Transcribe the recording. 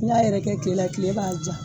N'i y'a yɛrɛkɛ tile la tile b'a ja